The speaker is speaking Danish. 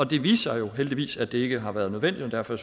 det viste sig jo heldigvis at det ikke har været nødvendigt og derfor